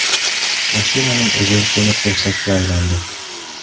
Mashinaning o‘zi temir-tersakka aylandi .